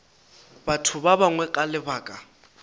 batho ba bangwe ka lebaka